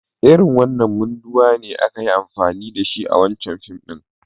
Irin wanan munduwa ne aka yi amfani da shi a wancan fim.